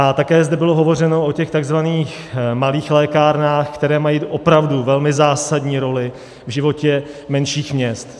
A také zde bylo hovořeno o těch tzv. malých lékárnách, které mají opravdu velmi zásadní roli v životě menších měst.